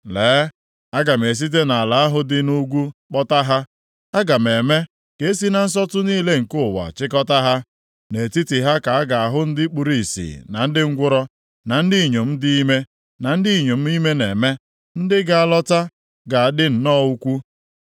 Lee, aga m esite nʼala ahụ dị nʼugwu kpọta ha; aga m eme ka e si na nsọtụ niile nke ụwa chịkọtaa ha. Nʼetiti ha ka a ga-ahụ ndị kpuru ìsì na ndị ngwụrọ, na ndị inyom dị ime, na ndị inyom ime na-eme. Ndị ga-alọta ga-adị nnọọ ukwuu!